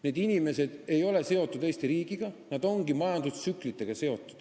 Need inimesed ei ole seotud Eesti riigiga, nad ongi seotud majandustsüklitega.